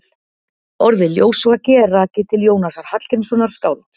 Orðið ljósvaki er rakið til Jónasar Hallgrímssonar skálds.